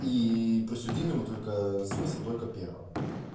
и присудили ему только смысл только первое